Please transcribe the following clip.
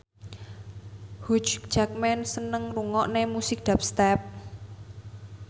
Hugh Jackman seneng ngrungokne musik dubstep